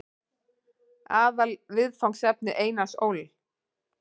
Aðalviðfangsefni Einars Ól.